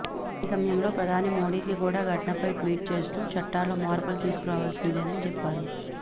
అదే సమయంలో ప్రధాని మోడీకి కూడా ఘటనపై ట్వీట్ చేస్తూ చట్టాల్లో మార్పులు తీసుకురావాల్సిందేనని చెప్పారు